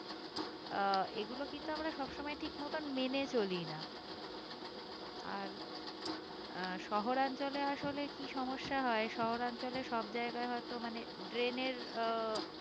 আহ এইগুলো কিন্তু আমরা সব সময় ঠিক মতন মেনে চলি না আর আহ শহর অঞ্চলে আসলে কি সমস্যা হয়ে শহর অঞ্চলে সব জায়গায় হয়তো মানে drain এর আহ